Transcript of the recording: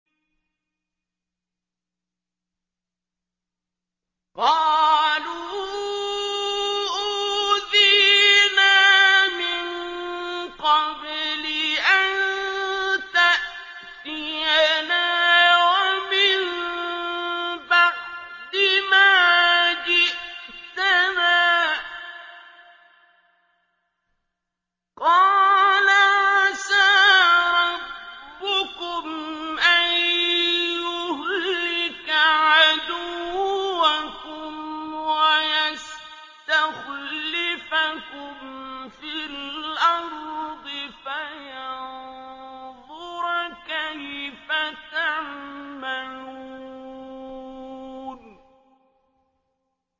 قَالُوا أُوذِينَا مِن قَبْلِ أَن تَأْتِيَنَا وَمِن بَعْدِ مَا جِئْتَنَا ۚ قَالَ عَسَىٰ رَبُّكُمْ أَن يُهْلِكَ عَدُوَّكُمْ وَيَسْتَخْلِفَكُمْ فِي الْأَرْضِ فَيَنظُرَ كَيْفَ تَعْمَلُونَ